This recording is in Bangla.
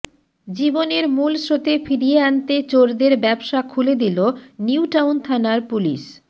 জীবনের মূল স্রোতে ফিরিয়ে আনতে চোরদের ব্যবসা খুলে দিল নিউটাউন থানার পুলিস